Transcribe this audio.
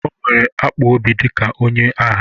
O nwere akpụ obi dịka onye agha